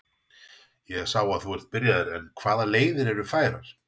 Ég sá að þú ert byrjaður en hvaða leiðir eru færar?